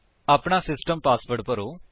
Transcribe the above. ਆਪਣਾ system password ਭਰੋ